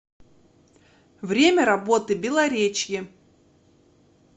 время работы белоречье